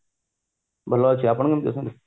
ଭଲ ଅଛି ଆପଣ କେମିତି ଅଛନ୍ତି